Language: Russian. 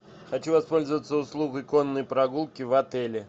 хочу воспользоваться услугой конной прогулки в отеле